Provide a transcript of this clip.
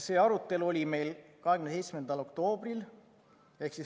See arutelu oli meil 27. oktoobril.